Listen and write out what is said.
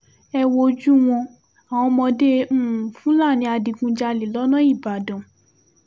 ẹ wojú wọn àwọn ọmọdé um fúlàní adigunjalè lọ́nà ìbàdàn